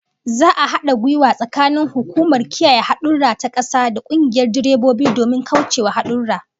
Za'a hada gwiwa tsakanin hukumar kiyaye hadurra ta kasa da kungiyar direbobi domin kaucewa hadurra